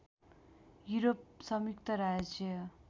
Europe संयुक्त राज्य